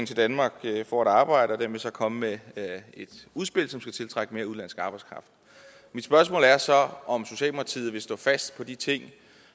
til danmark for at arbejde og den vil så komme med et udspil som skal tiltrække mere udenlandsk arbejdskraft mit spørgsmål er så om socialdemokratiet vil stå fast på de ting